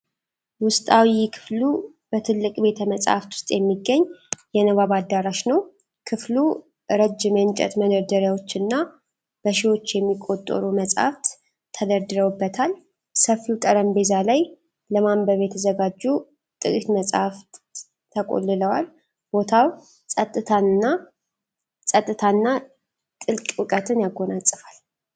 ውስጣዊ ክፍሉ በትልቅ ቤተ-መጽሐፍት ውስጥ የሚገኝ የንባብ አዳራሽ ነው። ክፍሉ ረጅም የእንጨት መደርደሪያዎችና በሺዎች የሚቆጠሩ መጽሐፍት ተደርድረውበታል። ሰፊው ጠረጴዛ ላይ ለማንበብ የተዘጋጁ ጥቂት መጻሕፍት ተቆልለዋል። ቦታው ጸጥታን እና ጥልቅ እውቀትን ያጎናጽፋል።